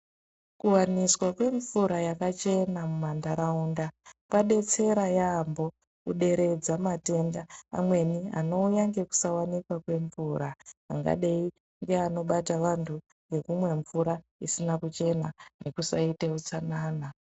Kuwaniswa kwemvura yakaachena mumantaraunda kwadetsera yaambho kuderedza matenda amweni anouya ngekusawanikwa kwemvura angadai ngeanobata vanthu ngekumwa mvura isina kuchena nekusaite utsanana.